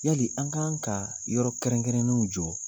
Yali ,an kan ka yɔrɔ kɛrɛnkɛrɛnnenw jɔ.